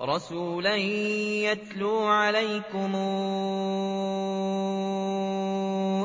رَّسُولًا يَتْلُو عَلَيْكُمْ